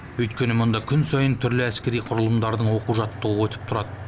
өйткені мұнда күн сайын түрлі әскери құрылымдардың оқу жаттығуы өтіп тұрады